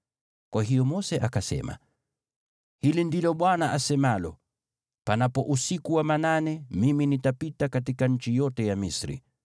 Kwa hiyo Mose akasema, “Hili ndilo Bwana asemalo: ‘Panapo usiku wa manane Mimi nitapita katika nchi yote ya Misri.